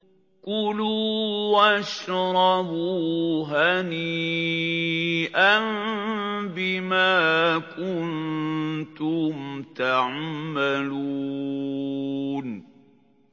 كُلُوا وَاشْرَبُوا هَنِيئًا بِمَا كُنتُمْ تَعْمَلُونَ